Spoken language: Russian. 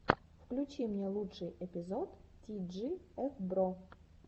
включи мне лучший эпизод ти джи эф бро